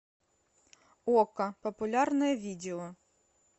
окко популярное видео